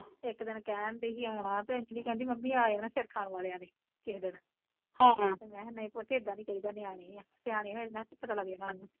ਇੱਕ ਦਿਨ ਕਹਿਣ ਡਈ ਸੀ ਆਉਣਾ ਤੇ ਅੰਜਲੀ ਕਹਿੰਦੀ ਮੰਮੀ ਆ ਜਾਣਾ ਸਿਰ ਖਾਣ ਵਾਲਿਆ ਨੇ, ਕਿਸੇ ਦਿਨ ਹਮ ਤੇ ਮੈਂ ਕਿਹਾ ਨਹੀਂ ਪੁੱਤ ਏਦਾ ਨੀ ਕਹੀ ਦਾ ਨਿਆਣੇ ਆ, ਸਿਆਣੇ ਹੋਏ ਤੇ ਮੈਂ ਕਿਹਾ ਆਪੇ ਪਤਾ ਲੱਗ ਜਾਨਾ ਓਹਨਾ ਨੂੰ